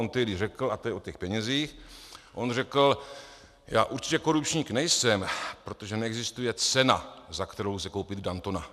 On tehdy řekl, a to je o těch penězích, on řekl: "Já určitě korupčník nejsem, protože neexistuje cena, za kterou lze koupit Dantona."